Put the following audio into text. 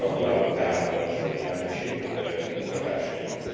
Gratulálok tehát a soros elnökség munkatársainak.